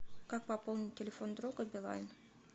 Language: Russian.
как пополнить телефон друга билайн